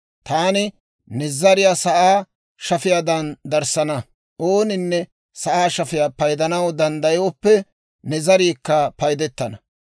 taani ne zariyaa sa'aa shafiyaadan darissana; ooninne sa'aa shafiyaa paydana danddayooppe, ne zariikka paydettana.